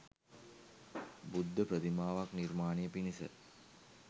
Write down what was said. බුද්ධ ප්‍රතිමාවක් නිර්මාණය පිණිස